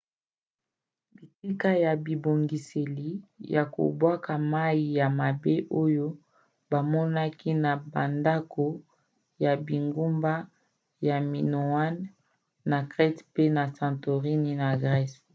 bitika ya bibongiseli ya kobwaka mai ya mabe oyo bamonaki na bandako ya bingumba ya minoan na crete mpe ya santorin na grèce